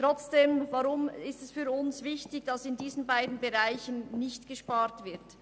Weshalb ist es für uns nun wichtig, dass in diesen Bereichen nicht gespart wird?